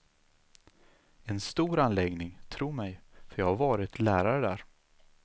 En stor anläggning, tro mig, för jag har varit lärare där.